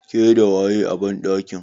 Ke da waye a banɗakin?